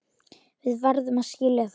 Við verðum að skilja það.